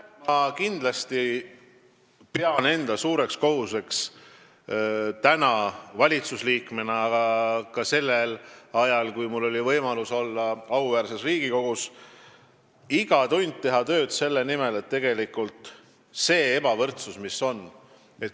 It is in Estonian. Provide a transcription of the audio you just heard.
Ma pean kindlasti praegu, valitsusliikmena, aga pidasin ka sellel ajal, kui mul oli võimalus olla auväärses Riigikogus, enda suureks kohuseks teha iga tund tööd selle nimel, et ebavõrdsust vähendada.